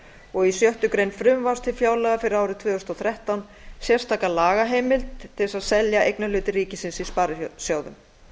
og í sjöttu greinar frumvarps til fjárlaga fyrir árið tvö þúsund og þrettán sérstaka lagaheimild til að selja eignarhluti ríkisins í sparisjóðum